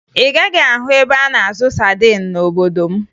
Ị gaghị ahụ ebe a na-azụ sadin n'obodo m